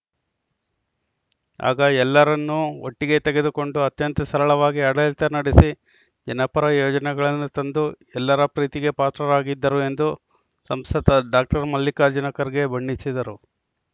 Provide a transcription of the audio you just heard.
ಆಗ ಎಲ್ಲರನ್ನೂ ಒಟ್ಟಿಗೆ ತೆಗೆದುಕೊಂಡು ಅತ್ಯಂತ ಸರಳವಾಗಿ ಆಡಳಿತ ನಡೆಸಿ ಜನಪರ ಯೋಜನೆಗಳನ್ನು ತಂದು ಎಲ್ಲರ ಪ್ರೀತಿಗೆ ಪಾತ್ರರಾಗಿದ್ದರು ಎಂದು ಸಂಸದ ಡಾಕ್ಟರ್ ಮಲ್ಲಿಕಾರ್ಜುನ ಖರ್ಗೆ ಬಣ್ಣಿಸಿದರು